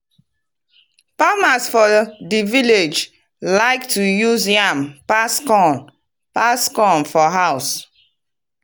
farmers for di viallge like to use yam pass corn pass corn for house